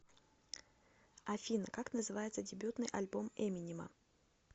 афина как называется дебютный альбом эминема